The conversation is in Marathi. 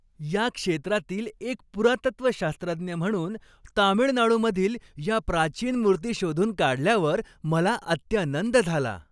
या क्षेत्रातील एक पुरातत्वशास्त्रज्ञ म्हणून, तामिळनाडूमधील या प्राचीन मूर्ती शोधून काढल्यावर मला अत्यानंद झाला.